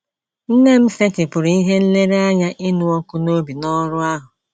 Nne m setịpụrụ ihe nlereanya ịnụ ọkụ n’obi n’ọrụ ahụ.